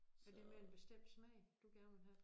Er det med en bestemt smag du gerne vil have